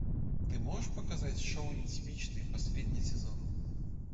ты можешь показать шоу нетипичный последний сезон